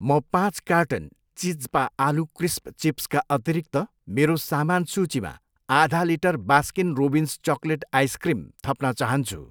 म पाँच कार्टन चिज्पा आलु क्रिस्प चिप्स का अतिरिक्त मेरो सामान सूचीमा आधा litre Baskin Robbins chocolate ice cream थप्न चाहन्छु।